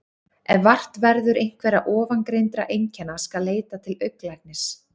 Ef vart verður einhverra ofangreindra einkenna skal leita til augnlæknis.